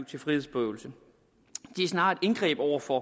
til frihedsberøvelse de er snarere et indgreb over for